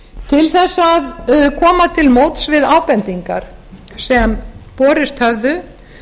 til þess að koma til móts við ábendingar sem borist höfðu